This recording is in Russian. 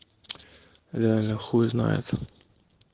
реально хуй знает